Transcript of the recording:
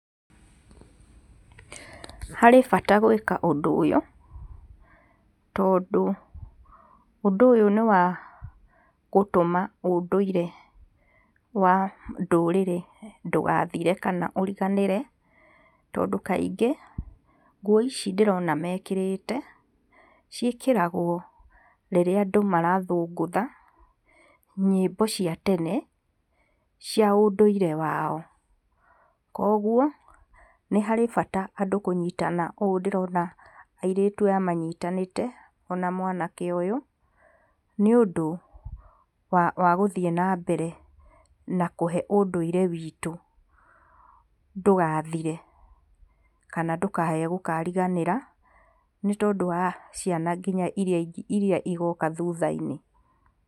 Harĩ bata gwĩka ũndũ ũyũ, tondũ ũndũ ũyũ nĩ wa gũtũma ũndũire wa ndũrĩrĩ ndũgathire kana ũriganĩre tondũ kaingĩ nguo ici ndĩrona mekĩrĩte ciĩkĩragwo rĩrĩa andũ marathũngũtha, nyĩmbo cia tene cia ũndũire wao. Koguo nĩ harĩ bata andũ kũnyitana ũũ ndĩrona airĩtu aya manyitanĩte ona mwanake ũyũ nĩ ũndũ wa gũthiĩ na mbere na kũhe ũndũire witũ, ndũgathire kana ndũkae kũkariganĩra nĩ tondũ wa ciana nginya iraia igoka thutha-inĩ.